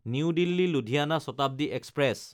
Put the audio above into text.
new দিল্লী–লুধিয়ানা Shatabdi express